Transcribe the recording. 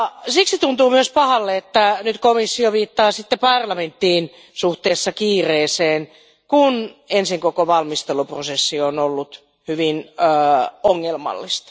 Siksi tuntuu myös pahalle, että nyt komissio viittaa parlamenttiin suhteessa kiireeseen, kun ensin koko valmisteluprosessi on ollut hyvin ongelmallinen.